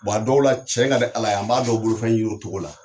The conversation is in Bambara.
a dɔw la tiɲɛ ka di Ala ye, an b'a dɔw bolofɛn ɲini o cogo la.